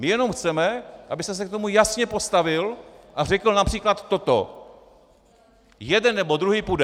My jenom chceme, abyste se k tomu jasně postavil a řekl například toto: "Jeden nebo druhý půjde!"